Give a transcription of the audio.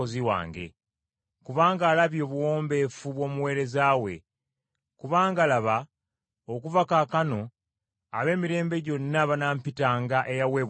Kubanga alabye obuwombeefu bw’omuweereza we. Kubanga laba, okuva kaakano, ab’emirembe gyonna banaampitanga eyaweebwa omukisa.